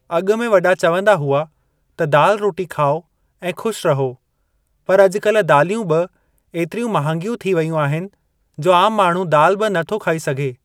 अॻु में वॾा चवंदा हुआ त दाल रोटी खाओ ऐं ख़ुश रहो, पर अज॒कल्हि दालियूं बि एतिरियूं महांगियूं थी वेयूं आहिनि जो आम माण्हूं दाल बि नथो खाए सघे।